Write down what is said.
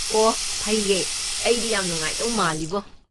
ꯑꯣꯍ ꯐꯩꯌꯦ, ꯑꯩꯗꯤ ꯌꯥꯝ ꯅꯨꯡꯉꯥꯏꯗꯧ ꯃꯥꯜꯂꯤꯕꯣ꯫